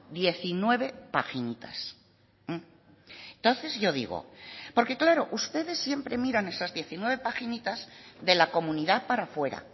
diecinueve paginitas entonces yo digo porque claro ustedes siempre miran esas diecinueve paginitas de la comunidad para fuera